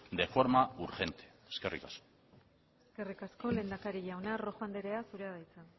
de forma urgente eskerrik asko eskerrik asko lehendakari jauna rojo anderea zurea da hitza